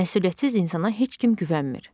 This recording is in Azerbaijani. Məsuliyyətsiz insana heç kim güvənmir.